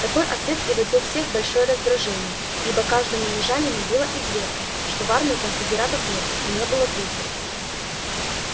такой ответ приводил всех в большое раздражение ибо каждому южанину было известно что в армии конфедератов нет и не было трусов